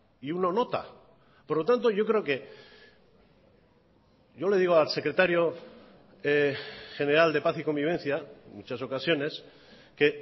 y uno nota por lo tanto yo creo que yo le digo al secretario general de paz y convivencia en muchas ocasiones que